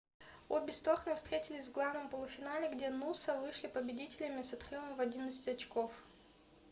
обе стороны встретились в главном полуфинале где нуса вышли победителями с отрывом в 11 очков